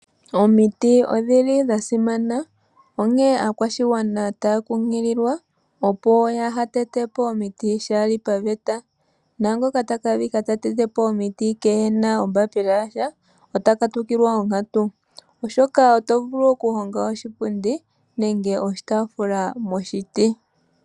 Omiti odhili dha simana, onkee aakwashigwana taya kunkililwa opo yaa ha tetepo omiti shaali paveta, naangoka taka adhika ta tetepo omiti keena ombapila yasha ota katukilwa onkatu. Oshoka oto vulu okuhonga oshipundi nege oshitaafula moshiti.